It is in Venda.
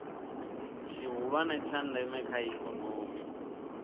tshihulwane tsha ndeme kha ikomoni